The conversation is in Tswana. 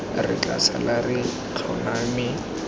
re tla sala re tlhoname